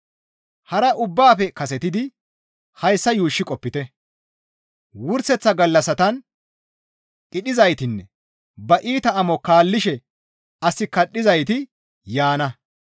Hara ubbaafe kasetidi hayssa yuushshi qopite; wurseththa gallassatan qidhizaytinne ba iita amo kaallishe as kadhizayti yaana.